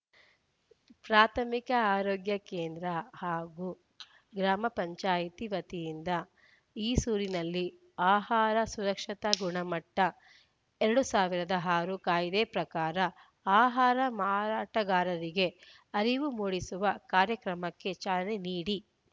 ಪ್ರಾಥಮಿಕ ಆರೋಗ್ಯ ಕೇಂದ್ರ ಹಾಗೂ ಗ್ರಾಪಂ ವತಿಯಿಂದ ಈಸೂರಿನಲ್ಲಿ ಆಹಾರ ಸುರಕ್ಷತಾ ಗುಣಮಟ್ಟ ಎರಡ್ ಸಾವಿರದ ಆರು ಕಾಯ್ದೆ ಪ್ರಕಾರ ಆಹಾರ ಮಾರಾಟಗಾರರಿಗೆ ಅರಿವು ಮೂಡಿಸುವ ಕಾರ್ಯಕ್ರಮಕ್ಕೆ ಚಾಲನೆ ನೀಡಿ